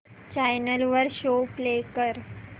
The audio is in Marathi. चॅनल वर शो प्ले कर